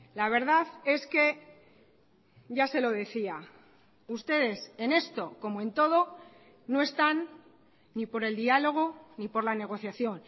la verdad es que ya se lo decía ustedes en esto como en todo no están ni por el diálogo ni por la negociación